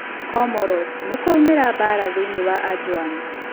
Comoros: Nĩ kwaumera mbaara thĩinĩ wa Anjouan.